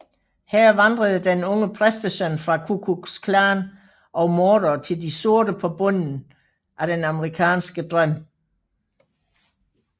Her vandrede den unge præstesøn fra Ku Klux Klan og mordere til de sorte på bunden af den amerikanske drøm